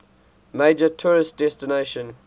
major tourist destination